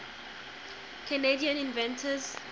canadian inventors